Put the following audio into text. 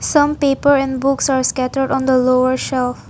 Some paper and books are scattered on the lower shelf.